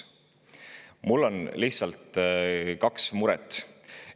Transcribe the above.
Mul on kaks muret.